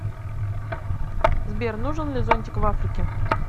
сбер нужен ли зонтик в африке